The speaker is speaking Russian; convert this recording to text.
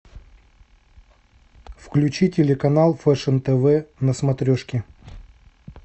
включи телеканал фэшн тв на смотрешке